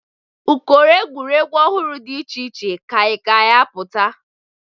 Ụkọrọ egwuregwu ọhụrụ dị iche iche ka a ga-apụta.